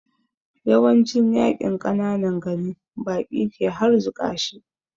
Yawancin yaƙin ƙananan gari baƙi ke harzuƙa shi